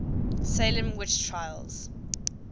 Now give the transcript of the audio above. salem witch trials